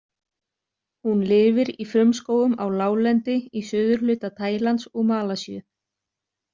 Hún lifir í frumskógum á láglendi í suðurhluta Tælands og Malasíu.